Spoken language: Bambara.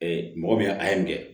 mɔgɔ min a ye